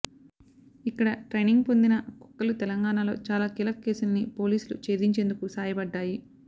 ఇక్కడ ట్రైనింగ్ పొందిన కుక్కలు తెలంగాణలో చాలా కీలక కేసుల్ని పోలీసులు ఛేదించేందుకు సాయపడ్డాయి